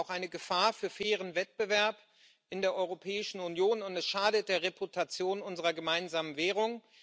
Es ist auch eine Gefahr für fairen Wettbewerb in der Europäischen Union, und es schadet der Reputation unserer gemeinsamen Währung.